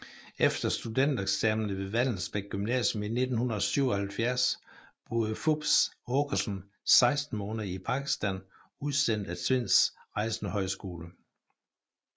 Efter studentereksamen ved Vallensbæk Gymnasium i 1977 boede Fupz Aakeson 16 måneder i Pakistan udsendt af Tvinds Rejsende Højskole